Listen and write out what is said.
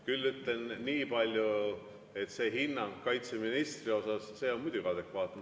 Küll ütlen nii palju, et see hinnang kaitseministrile on muidugi adekvaatne.